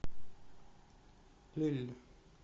эль